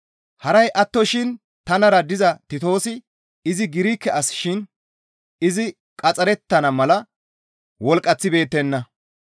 Haray attoshin tanara diza Titoosi izi Girike as shin izi qaxxarettana mala wolqqaththibeettenna.